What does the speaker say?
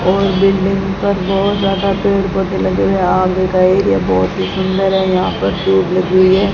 और बिल्डिंग पर बहुत ज्यादा पेड़ पौधे लगे हुए है आगे का एरिया बहुत ही सुंदर है यहां पर ट्यूब लगी हुई है।